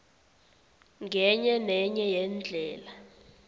ngenye nenye yeendlela